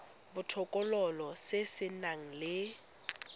botokololo se se nang le